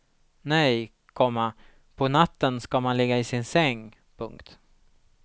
Nej, komma på natten ska man ligga i sin säng. punkt